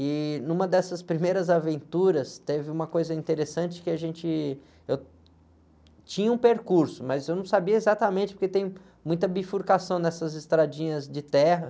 E, numa dessas primeiras aventuras, teve uma coisa interessante que a gente... Eu tinha um percurso, mas eu não sabia exatamente, porque tem muita bifurcação nessas estradinhas de terra.